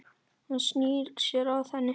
Hann snýr sér að henni.